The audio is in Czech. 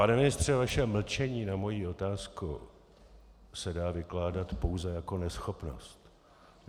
Pane ministře, vaše mlčení na moji otázku se dá vykládat pouze jako neschopnost.